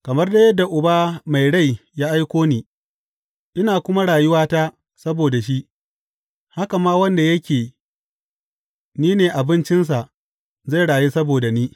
Kamar dai yadda Uba mai rai ya aiko ni, ina kuma rayuwa ta saboda shi, haka ma wanda yake ni ne abincinsa zai rayu saboda ni.